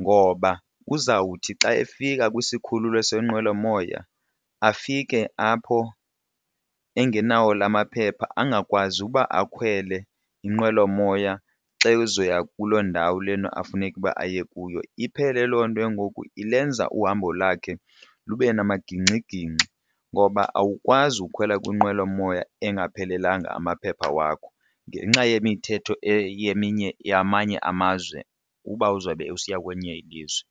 ngoba uzawuthi xa efika kwisikhululo seenqwelomoya afike apho engenawo la maphepha angakwazi uba akhwele iinqwelomoya xa ezoya kuloo ndawo lena afuneke uba aye kuyo. Iphele loo nto ke ngoku ilenza uhambo lakhe lube namagingxigingxi ngoba awukwazi ukhwela kwinqwelomoya engaphelelanga amaphepha wakho ngenxa yemithetho yamanye amazwe uba uzawube usiya kwenye ilizwe.